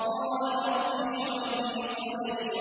قَالَ رَبِّ اشْرَحْ لِي صَدْرِي